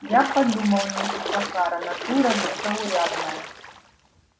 я подумал мисс охара натура незаурядная